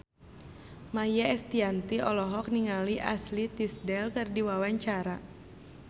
Maia Estianty olohok ningali Ashley Tisdale keur diwawancara